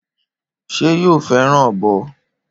Ṣé yóò fẹràn ọbọ?